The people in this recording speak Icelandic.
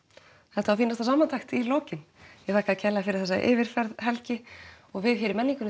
þetta var fínasta samantekt í lokin ég þakka þér fyrir þessa yfirferð Helgi við í menningunni